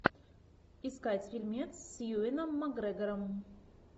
искать фильмец с юэном макгрегором